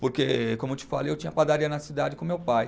Porque, como eu te falei, eu tinha padaria na cidade com meu pai.